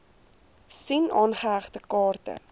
sien aangehegte kaarte